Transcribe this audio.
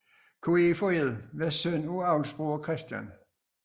Koefoed var søn af avlsbruger Chr